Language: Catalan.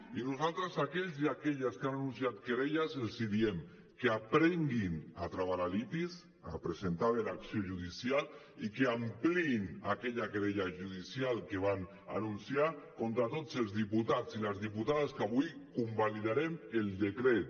i nosaltres a aquells i aquelles que han anunciat querelles els diem que aprenguin a travar la litis a presentar bé l’acció judicial i que ampliïn aquella querella judicial que van anunciar contra tots els diputats i les diputades que avui convalidarem el decret